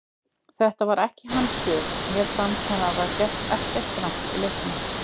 Þetta var ekki hans sök, mér fannst hann hafa gert ekkert rangt í leiknum.